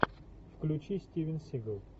включи стивен сигал